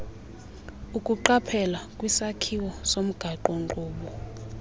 ukuqaphela kwisakhelo somgaqonkqubo